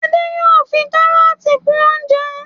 Ade yóò fí karọọti kún oúnjẹ